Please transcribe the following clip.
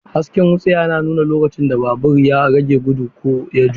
Hasken wutsiya yana nuna lokacin da babur ya rage gudu ko ya juya.